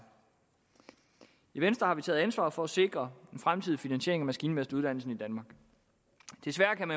i venstre har vi taget ansvaret for at sikre en fremtidig finansiering af maskinmesteruddannelsen i danmark desværre kan